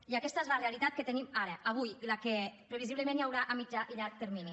i aquesta és la realitat que tenim ara avui i la que previsiblement hi haurà a mitjà i llarg termini